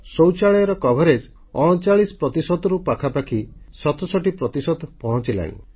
ଶୌଚାଳୟର ନିର୍ମାଣ ହାର 39 ପ୍ରତିଶତରୁ ପାଖାପାଖି 67 ପ୍ରତିଶତ ପହଞ୍ଚିଗଲାଣି